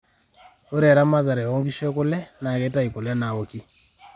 ore eamatare oo nkishu ekula na keitayu kule naaoki